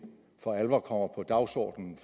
for alvor kommer på dagsordenen